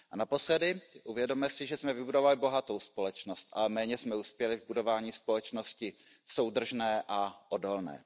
A naposledy, uvědomme si, že jsme vybudovali bohatou společnost, ale méně jsme uspěli v budování společnosti soudržné a odolné.